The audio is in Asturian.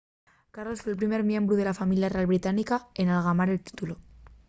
carlos fue'l primer miembru de la familia real británica n’algamar un títulu